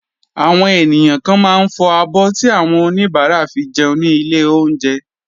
Àwọn ènìyàn kan máa ń fọ abọ́ tí àwọn oníbàárà fi jẹun ní ilé oúnjẹ.